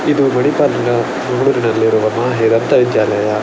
ಇದು ಮಣಿಪಾಲ್‌ನ ನಲ್ಲಿರುವ ಮಾಹೆ ದಂತ ವಿದ್ಯಾಲಯ.